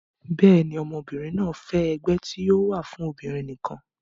bẹ́ẹ̀ni, ọmọbìnrin náà fẹ́ ẹgbẹ́ tí yóò wà fún obìnrin nìkan